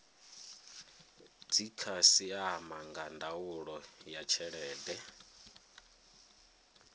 dzikhasiama nga ndaulo ya tshelede